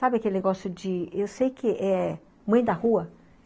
Sabe aquele negócio de... Eu sei que eh... Mãe da rua?